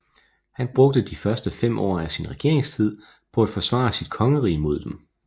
Han brugte de første fem år af sin regeringstid på at forsvare sit kongerige mod dem